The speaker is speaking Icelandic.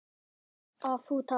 Þannig að þú talar.